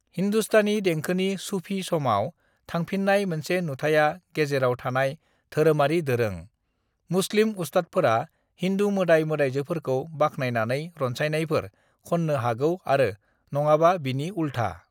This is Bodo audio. हिन्दुस्तानी देंखोनि सूफी समाव थांफिननाय मोनसे नुथाया गेजेराव थानाय धोरोमारि दोरों: मुस्लिम उस्तादफोरा हिन्दु मोदाय-मोदायजोफोरखौ बाखनायनानै रनसायनायफोर खननो हागौ आरो नङाबा बिनि उलथा।